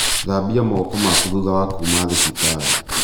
Thambia moko maku thutha wa kuma thibitarĩ.